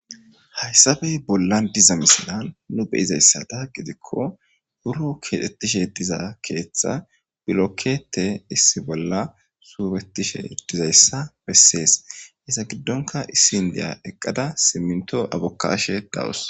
Hayissape bollani diza misileza betishe diza gidiko burro kexetishe diza bessesi he giddonika indiya eqada siminito bokayashe dawusu